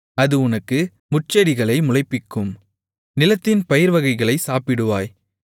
அது உனக்கு முட்செடிகளை முளைப்பிக்கும் நிலத்தின் பயிர்வகைகளைச் சாப்பிடுவாய்